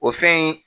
O fɛn in